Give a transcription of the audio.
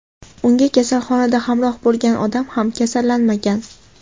Unga kasalxonada hamroh bo‘lgan odam ham kasallanmagan.